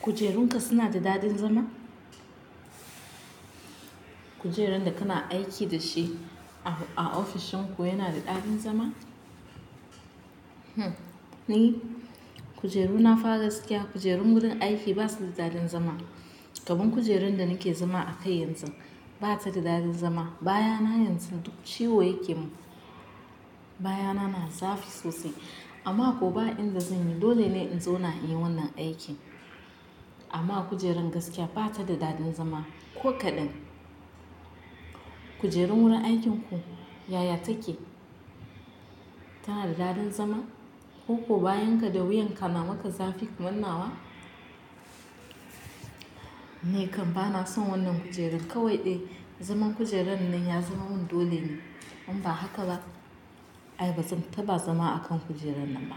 Kujerunka suna da daɗin zama? Kujerun da kana aiki da shi a ofishin ku yana da daɗin zama? Ni kujeru na fa gaskiya, kujerun wurin aiki basu da daɗin zama. Kaman kujeran da nake zama a kai yanzu bata da daɗin zama. Bayana yanzu duk ciwo yake mun. Bayana na zafi sosai amma ko ba inda zan yi dole ne in zauna in yi wannan aikin. Amma kujeran gaskiya bata da daɗin zama ko kaɗan. Kujerun wurin aikinku yaya take? Tana da daɗin zama, ko ko bayan ka da wuyan ka na maka zafi kaman na wa? Ni kam bana son wannan kujeran. Kawai dai zaman kujeran nan ya zama mun dole ne, in ba haka ba ai bazan taba zama a kan kujeran nan ba.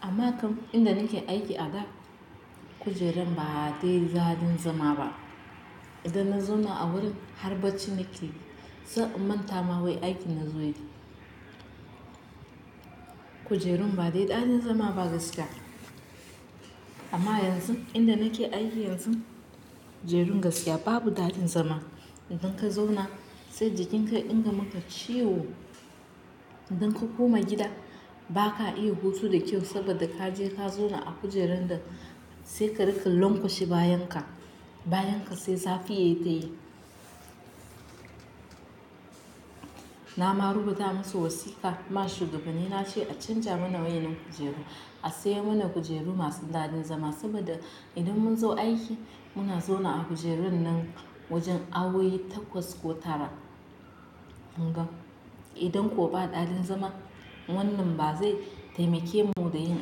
Amma kam inda nake aiki a da, kujeran ba dai daɗin zama ba. Idan na zauna a wurin har bacci nakeyi, sai in manta ma wai aikin na zo yi. Kujerun ba dai daɗin zama ba gaskiya. Amma yanzu, inda nake aiki yanzu, kujerun gaskiya babu daɗin zama. Idan ka zauna sai jikinka ya dinga maka ciwo. Idan ka koma gida baka iya hutu da kyau saboda ka je ka zauna a kujeran da sai ka riƙa lankwashe bayan ka. Bayan ka sai zafi yayi ta yi. Na ma rubuta masu wasiƙa, ma shugabanni na ce a canja mana wayannan kujeru. A sayo mana kujeru masu daɗin zama, saboda idan mun zo aiki muna zauna a kujerun nan wajen awowi takwas ko tara. Hangam. Idan ko ba daɗin zama wannan ba zai taimake mu da yin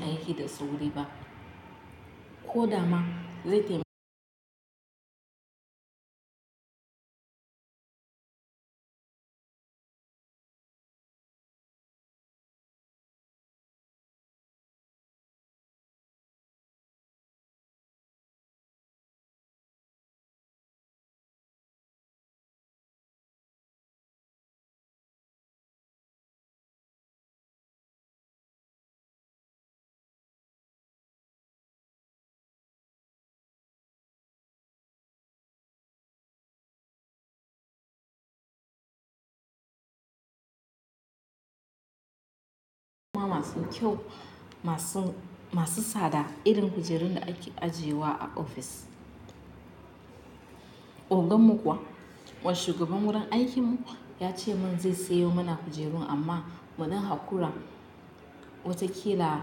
aiki da sauri, ba ko dama zai irin ma masu kyau masu tsada irin kujerun da ake ajiyewa a ofis. Ogan mu kuwa, wa shugaban wurin aikin mu kuwa ya ce mun zai sayo mana kujerun amma munan hakura. Wataƙila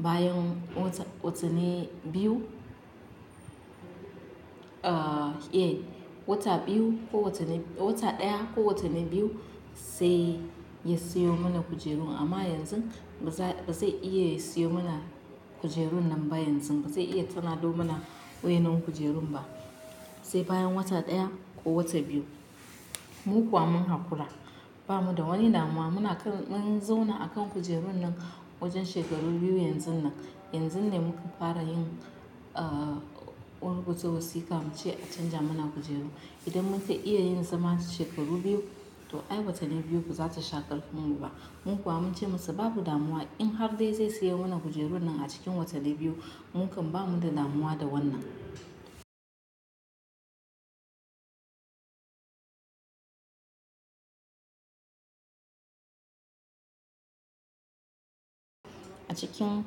bayan watanni biyu. Wata biyu ko watanni, wata ɗaya ko watanni biyu sai ya sayo mana kujerun. Amma yanzu ba zai iya sayo mana kujerun nan ba yanzu. Ba zai iya canza mana wayennan kujerun ba. Sai bayan wata ɗaya ko wata biyu. Mu kuwa mun hakura. Ba mu da wani damuwa. Muna kan, mun zauna a kan kujerun nan wajen shekaru biyu yanzu nan. Yanzu ne muka fara yin rubuta wasika muce a canja mana kujeru, idan munkai iya zama shekaru biyu, to ai watanni biyu bazai sha karfin mu ba, mu kuwa munce masa babu damuwa in har dai zai sayo mana kujerun nan a cikin watanni biyu. Mu kam ba mu da damuwa da wannan. A cikin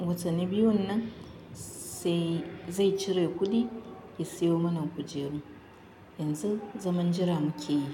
watanni biyun nan sai, zai cire kuɗi ya sayo mana kujeru. Yanzu zaman jira muke yi.